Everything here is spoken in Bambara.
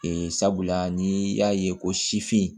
Ee sabula ni y'a ye ko sifin